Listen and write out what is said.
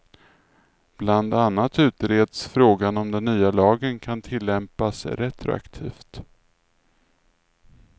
Bland annat utreds frågan om den nya lagen kan tillämpas retroaktivt.